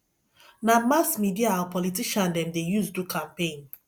na mass media our politician dem dey use do campaign